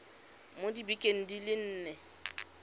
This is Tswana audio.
mo dibekeng di le nne